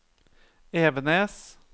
Evenes